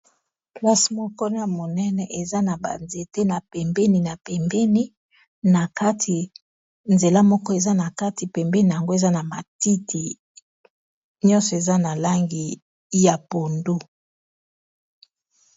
Plasse mokona monene eza na ba nzete na pembeni na pembeni na kati nzela moko eza na kati pembeni yango eza na matiti nyonso eza na langi ya pondo.